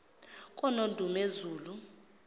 konondumezulu